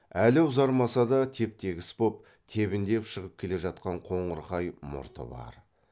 әлі ұзармаса да теп тегіс боп тебіндеп шығып келе жатқан қоңырқай мұрты бар